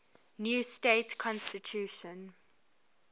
new state constitution